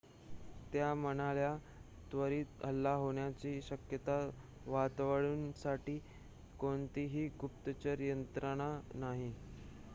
त्या म्हणाल्या त्वरित हल्ला होण्याची शक्यता वर्तवण्यासाठी कोणतीही गुप्तचर यंत्रणा नाही